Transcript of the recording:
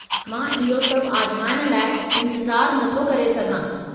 मां इहो सभु आज़माइण लाइ इंतिज़ारु नथो करे सघां।